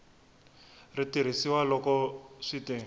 ri tirhisiwa loko swi te